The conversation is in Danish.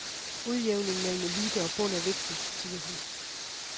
Udjævning mellem elite og bund er vigtig, siger hun.